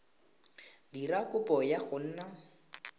dira kopo ya go nna